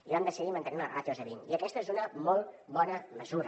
i vam decidir mantenir les ràtios a vint i aquesta és una molt bona mesura